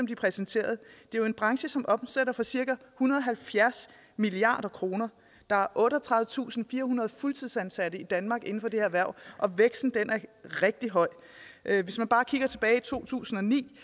de præsenterede det er jo en branche som omsætter for cirka en hundrede og halvfjerds milliard kr der er otteogtredivetusinde firehundrede fuldtidsansatte i danmark inden for det erhverv og væksten er rigtig høj hvis man bare kigger tilbage til to tusind og ni